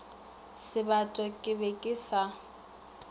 sebata ke be ke sa